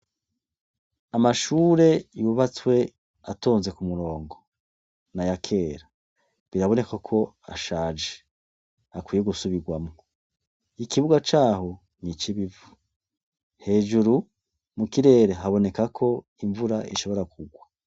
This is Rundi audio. Amashure yubatswe atonze ku murongo, naya kera biraboneka ko ashaje akwiye gusubirwamwo ikibuga caho n'icibivu, hejuru mu kirere habonekako imvura ishobora ku rwa.